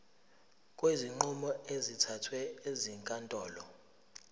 kwezinqumo ezithathwe ezinkantolo